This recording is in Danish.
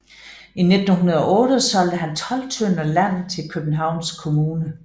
I 1908 solgte han 12 tønder land til Københavns Kommune